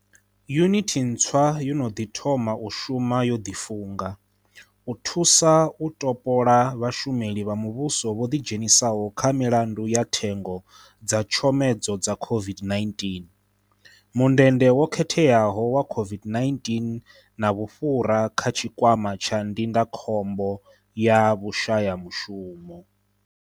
Yunithi ntswa yo no ḓi thoma u shuma yo ḓifunga, u thusa u topola vhashu meli vha muvhuso vho ḓidzhenisaho kha milandu ya thengo dza tshomedzo dza COVID-19, mundende wo khetheaho wa COVID-19 na vhufhura kha Tshikwama tsha Ndindakhombo ya Vhushayamushumo.